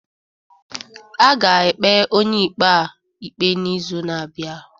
A ga-ekpe onye ikpe a ikpe n'izu na-abịa.